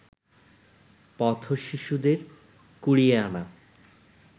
পথ-শিশুদের কুড়িয়ে আনা